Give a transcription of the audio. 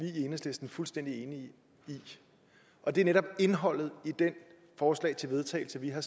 i enhedslisten fuldstændig enige i og det er netop indholdet i det forslag til vedtagelse vi har